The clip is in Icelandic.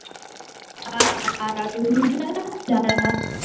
Bíðið þið bara á meðan, sagði hún við Gústa.